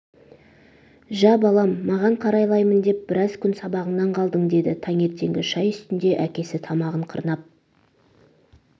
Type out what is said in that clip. жә балам маған қарайлаймын деп біраз күн сабағыңнан қалдың деді таңертеңгі шай үстінде әкесі тамағын қырнап